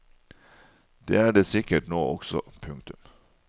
Det er det sikkert nå også. punktum